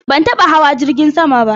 Ban taba hawa jirgin sama ba.